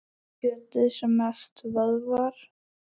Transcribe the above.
Kjötið er mest vöðvar.